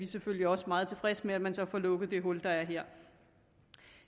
selvfølgelig også meget tilfredse med at man så får lukket det hul der er her